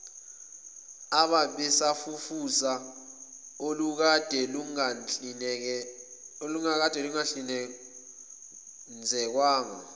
abasafufusa olukade lungahlinzekwanga